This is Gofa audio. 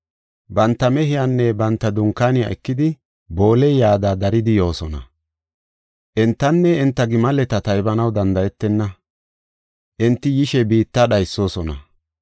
Banta mehiyanne banta dunkaaniya ekidi, booley yada daridi yoosona. Entanne enta gimaleta taybanaw danda7etenna; enti yishe biitta dhaysoosona.